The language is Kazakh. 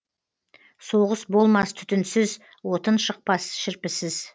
соғыс болмас түтінсіз отын шықпас шірпісіз